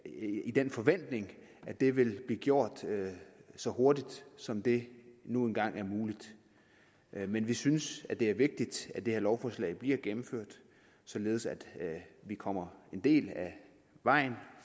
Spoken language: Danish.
den forventning at det vil blive gjort så hurtigt som det nu engang er muligt men vi synes det er vigtigt at det her lovforslag bliver gennemført således at vi kommer en del af vejen